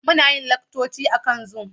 Muna yin laccoci akan Zoom.